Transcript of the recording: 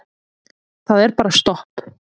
Það er bara stopp.